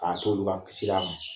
A t'olu ka sira kan